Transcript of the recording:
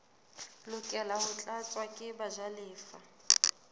lokela ho tlatswa ke bajalefa